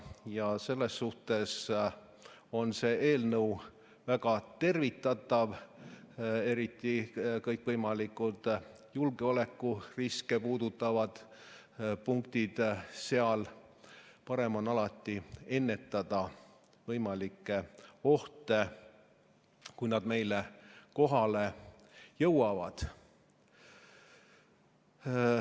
Ja selles suhtes on see eelnõu väga tervitatav, eriti kõikvõimalikud julgeolekuriske puudutavad punktid, sest alati on parem ennetada võimalikke ohte, kui need meile kohale jõuavad.